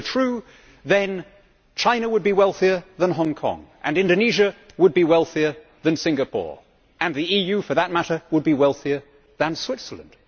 If it were true then China would be wealthier than Hong Kong and Indonesia would be wealthier than Singapore, and the EU, for that matter, would be wealthier than Switzerland.